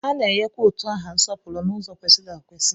A na-enyekwa utu aha nsọpụrụ n'ụzọ kwesịrị ekwesị.